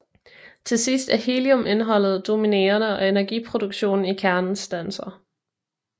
Til sidst er heliumindholdet dominerende og energiproduktionen i kernen standser